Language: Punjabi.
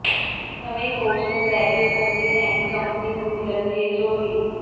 ਨਵੇਂ ਕੋਚ ਨੂੰ ਲੈ ਕੇ ਕੋਹਲੀ ਐਂਡ ਕੰਪਨੀ ਨੂੰ ਮਿਲਣਗੇ ਜੌਹਰੀ